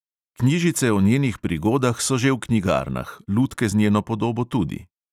Knjižice o njenih prigodah so že v knjigarnah, lutke z njeno podobo tudi.